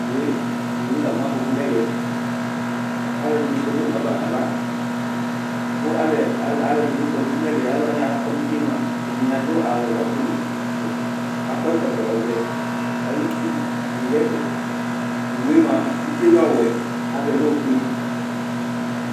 Owu lamu afɔku nɛvɛ alu ɛdini kɔ nu owu ava naʋa Kpali ɛdini kɔ nu utinɛvɛni aɖu awu ɔtili kakɔ ɛkɔtɔ ɔʋɛ bidu ɛfɛ owu bi mia utie lɛ ɔwɛ avɛ lɛ ofue